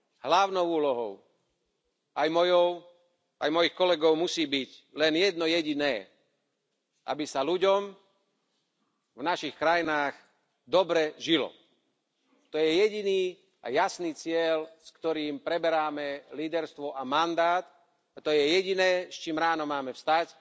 Hlavnou úlohou, aj mojou, aj mojich kolegov, musí byť len jedno jediné aby sa ľuďom v našich krajinách dobre žilo. To je jediný a jasný cieľ, s ktorým preberáme líderstvo a mandát a to je jediné, s čím máme ráno vstať